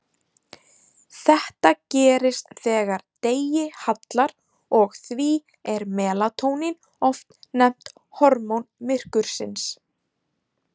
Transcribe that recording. Þetta gerist þegar degi hallar og því er melatónín oft nefnt hormón myrkursins.